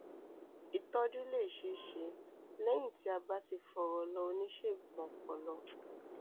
ìtọjú lè ṣeé ṣe lẹyìn tí a bá ti fọrọ lọ oníṣègùn ọpọlọ